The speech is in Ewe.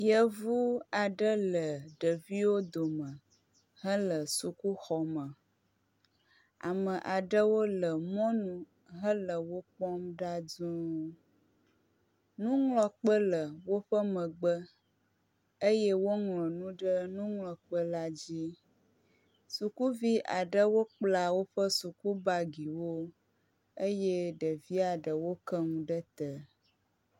Yevu aɖe le ɖeviwo dome hele sukuxɔme. Ame aɖewo le mɔnu hele wo kpɔm ɖa duu. Nuŋlɔkpe le woƒe megbe eye woŋlɔ nu ɖe nuŋlɔkpe la dzi. Sukuvi aɖewo kpla woƒe sukubagiwo eye evia ɖewo ke nu ɖe te.